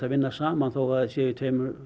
að vinna saman þó það sé í tveimur